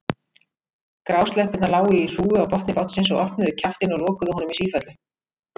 Grásleppurnar lágu í hrúgu á botni bátsins og opnuðu kjaftinn og lokuðu honum í sífellu.